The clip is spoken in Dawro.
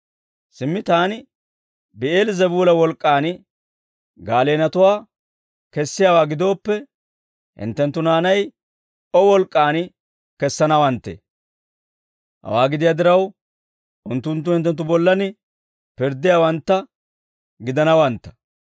Simmi taani bi'eel-zebuula wolk'k'aan gaaleenatuwaa kessiyaawaa gidooppe hinttenttu naanay O wolk'k'aan kessanawanttee? Hawaa gidiyaa diraw, unttunttu hinttenttu bollan pirddiyaawantta gidanawantta.